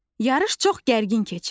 Yarış çox gərgin keçirdi.